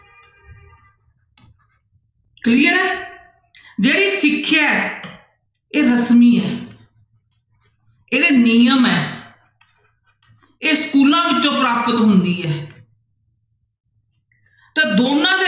Clear ਹੈ ਜਿਹੜੀ ਸਿੱਖਿਆ ਹੈ ਇਹ ਰਸਮੀ ਹੈ ਇਹਦੇ ਨਿਯਮ ਹੈ ਇਹ ਸਕੂਲਾਂ ਵਿੱਚੋਂ ਪ੍ਰਾਪਤ ਹੁੰਦੀ ਹੈ ਤਾਂ ਦੋਨਾਂ ਦੇ